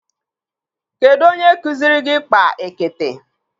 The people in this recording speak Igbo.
Kedu onye kuziri gi ikpa ekete?